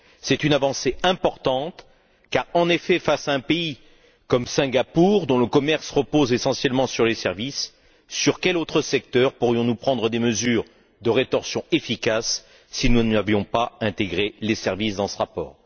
C'est une avancée importante car, en effet, face à un pays comme Singapour dont le commerce repose essentiellement sur les services sur quel autre secteur pourrions nous prendre des mesures de rétorsion efficaces si nous n'avions pas intégré les services dans ce rapport?